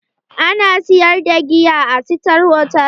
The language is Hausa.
Ana sayar da giya a sitar hotal?